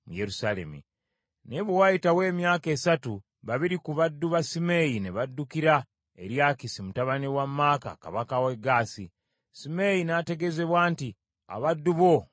Naye bwe waayitawo emyaka esatu, babiri ku baddu ba Simeeyi ne baddukira eri Akisi mutabani wa Maaka kabaka w’e Gaasi . Simeeyi n’ategeezebwa nti, “Abaddu bo bali Gaasi.”